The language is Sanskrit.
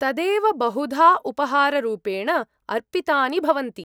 -तदेव बहुधा उपहाररूपेण अर्पितानि भवन्ति।